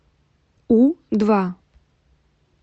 у два